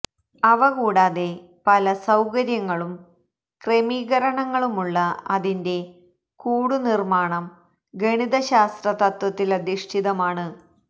അവ കൂടാതെ പല സൌകര്യങ്ങളും ക്രമീകരണങ്ങളുമുള്ള അതിന്റെ കൂടു നിര്മാണം ഗണിതശാസ്ത്ര തത്വത്തിലധിഷ്ഠിതമാണ്